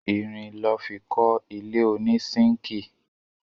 Irin lọ́ fi kọ́ ilé ònísínkìì